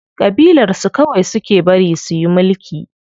Ƙabilar su kawai suke bari suyi mulki.